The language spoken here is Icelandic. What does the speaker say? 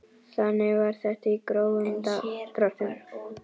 Þannig var þetta í grófum dráttum.